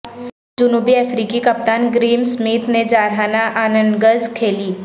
جنوبی افریقی کپتان گریم سمتھ نے جارحانہ اننگز کھیلی